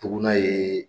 Dugun ye